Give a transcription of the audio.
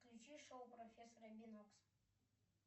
включи шоу профессора бинокса